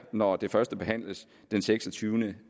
når det førstebehandles den seksogtyvende